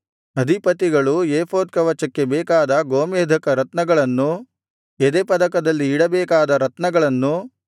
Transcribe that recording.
ಅಧಿಪತಿಗಳು ಏಫೋದ್ ಕವಚಕ್ಕೆ ಬೇಕಾದ ಗೋಮೇಧಕ ರತ್ನಗಳನ್ನು ಎದೆಪದಕದಲ್ಲಿ ಇಡಬೇಕಾದ ರತ್ನಗಳನ್ನು